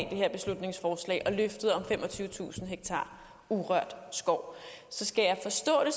her beslutningsforslag og løftet om femogtyvetusind ha urørt skov så skal jeg forstå det